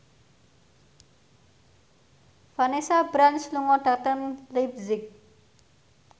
Vanessa Branch lunga dhateng leipzig